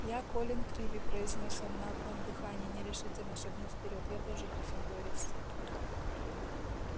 я колин криви произнёс он на одном дыхании нерешительно шагнув вперёд я тоже гриффиндорец